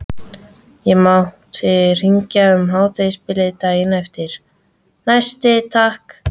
Ég mátti hringja um hádegisbilið daginn eftir, næsti takk!